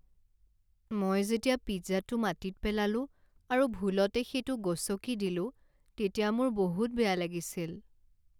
মই যেতিয়া পিজ্জাটো মাটিত পেলালোঁ আৰু ভুলতে সেইটো গছকি দিলো তেতিয়া মোৰ বহুত বেয়া লাগিছিল।